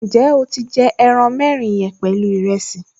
Ǹjẹ́ o ti jẹ ẹran mẹ́rin yẹn pẹ̀lú ìrẹsì?